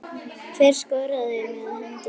Hver skoraði með hendi guðs?